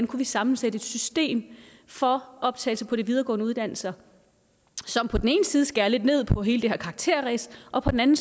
kunne sammensætte et system for optagelse på de videregående uddannelser som på den ene side skærer lidt ned på hele det her karakterræs og på den anden